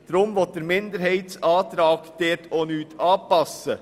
Deshalb will dieser Minderheitsantrag dort auch nichts anpassen.